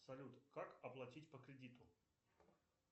салют как оплатить по кредиту